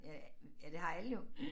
Øh ja det har alle jo